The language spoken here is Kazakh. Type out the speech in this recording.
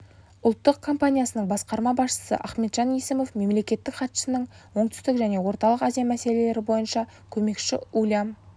ұлттық компаниясының басқарма басшысы ахметжан есімов мемлекеттік хатшысының оңтүстік және орталық азия мәселелері бойынша көмекшісі ульям